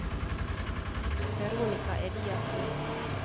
Veronika Eliassen